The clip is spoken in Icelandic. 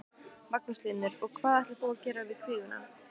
Magnús Hlynur: Og hvað ætlar þú að gera við kvíguna?